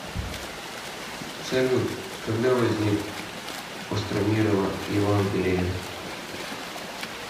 салют когда возник остромирово евангелие